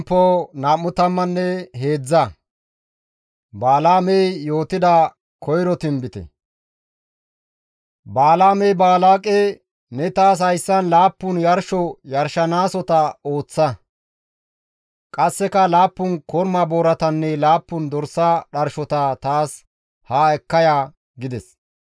Balaamey Baalaaqe, «Ne taas hayssan laappun yarsho yarshanaasota ooththa; qasseka laappun korma booratanne laappun dorsa dharshota taas haa ekka ya» gides.